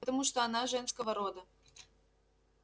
потому что она женского рода